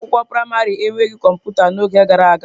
Ụlọ akwụkwọ praịmarị enweghị kọmputa n'oge gara aga.